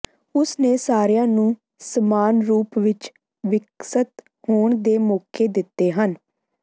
ਉਸ ਨੇ ਸਾਰਿਆਂ ਨੂੰ ਸਮਾਨ ਰੂਪ ਵਿਚ ਵਿਕਸਤ ਹੋਣ ਦੇ ਮੌਕੇ ਦਿੱਤੇ ਹਨ